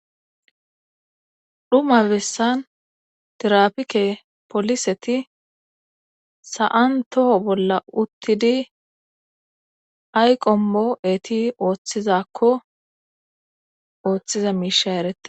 Xuma bessan tirapike poliseti sa'an toho bolla uttidi ay qommo eti oottizakko oottiza miishay eretees.